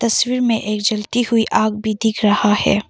तस्वीर में एक जलती हुई आग भी दिख रहा है।